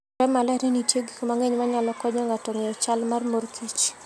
Nenore maler ni nitie gik mang'eny manyalo konyo ng'ato ng'eyo chal mar mor kich.